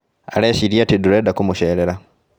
Areciria atĩ ndũrenda kũmũceerera.